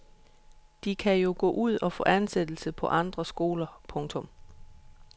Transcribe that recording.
De kan jo gå ud og få ansættelse på andre skoler. punktum